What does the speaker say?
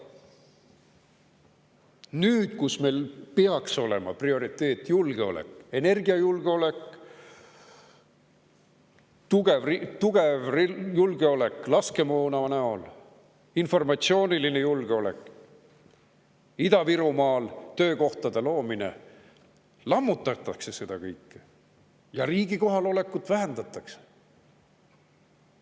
Nüüd, kui meil peaks olema prioriteet julgeolek – energiajulgeolek, tugev julgeolek laskemoona näol, informatsiooniline julgeolek – ja Ida-Virumaal töökohtade loomine, lammutatakse seda kõike ja riigi kohalolekut vähendatakse.